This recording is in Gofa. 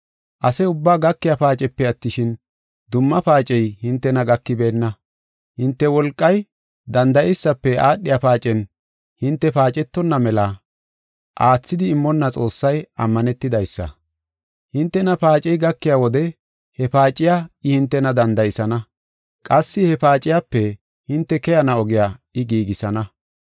Ase ubbaa gakiya paacepe attishin, dumma paacey hintena gakibeenna. Hinte wolqay danda7eysafe aadhiya paacen hinte paacetonna mela aathidi immonna Xoossay ammanetidaysa. Hintena paacey gakiya wode he paaciya I hintena danda7isana. Qassi he paaciyape hinte keyana ogiya I giigisana.